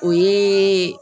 O yee